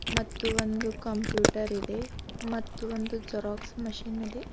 ಮತ್ತು ಒಂದು ಕಂಪ್ಯೂಟರ್ ಇದೆ ಮತ್ತು ಒಂದು ಜೆರಾಕ್ಸ್ ಮಷೀನ್ ಇದೆ.